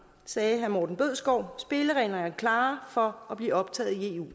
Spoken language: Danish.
sagde herre morten bødskov spillereglerne er klare for at blive optaget i eu